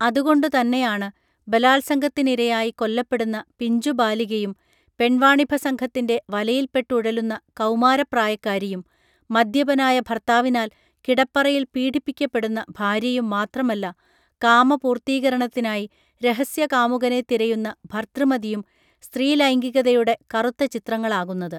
അതുകൊണ്ടുതന്നെയാണ് ബലാത്സംഗത്തിനിരയായി കൊല്ലപ്പെടുന്ന പിഞ്ചുബാലികയും പെൺവാണിഭസംഘത്തിൻറെ വലയിൽപ്പെട്ടുഴലുന്ന കമാരപ്രായക്കാരിയും മദ്യപനായ ഭർത്താവിനാൽ കിടപ്പറയിൽ പീഡിപ്പിക്കപ്പെടുന്ന ഭാര്യയും മാത്രമല്ല കാമപൂർത്തീകരണത്തിനായി രഹസ്യകാമുകനെ തിരയുന്ന ഭർതൃമതിയും സ്ത്രീലൈംഗികതയുടെ കറുത്ത ചിത്രങ്ങളാകുന്നത്